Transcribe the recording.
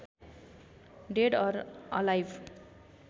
dead or alive